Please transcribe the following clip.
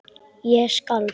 Ég skalf.